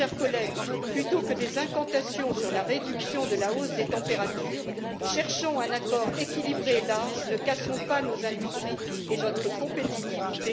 Mes chers collègues, plutôt que des incantations sur la réduction de la hausse des températures, cherchons un accord équilibré et large, ne cassons pas nos industries et notre compétitivité.